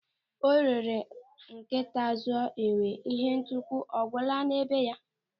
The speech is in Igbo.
Ọ rere nkịta zụọ enwe, ịhe ntukwu ọ gwụla na be ya?